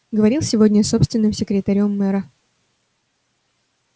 говорил сегодня с собственным секретарём мэра